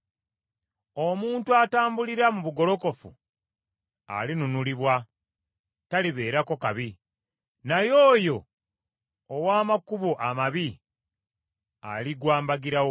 Omuntu atambulira mu bugolokofu alinunulibwa talibeerako kabi, naye oyo ow’amakubo amabi aligwa mbagirawo.